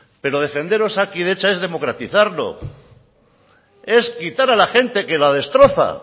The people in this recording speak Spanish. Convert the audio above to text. pero defender osakidetza es democratizarlo es quitar a la gente que la destroza